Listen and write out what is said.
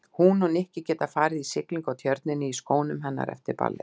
Hún og Nikki geta farið í siglingu á Tjörninni í skónum hennar eftir ballið.